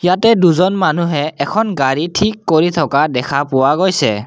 ইয়াতে দুজন মানুহে এখন গাড়ী ঠিক কৰি থকা দেখা পোৱা গৈছে।